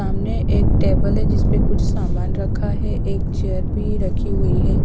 सामने एक टेबल है जिस परे कुछ सामान रखा है एक चेयर भी रखी हुई है।